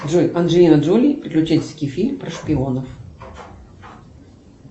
джой анджелина джоли приключенческий фильм про шпионов